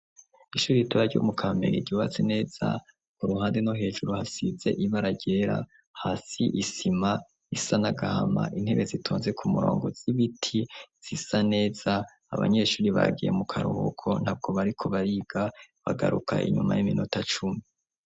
Ishure ritoya ryo mu kamenge ri gibatsi neza ku ruhande no hejuru hasidze ibaragera hasi isima isanagahama intebe zitonze ku murongo z'ibiti zisa neza abanyeshuri bagiye mu karuhuko ntabwo bariko bariga bagaruka inyuma y'iminota cumi.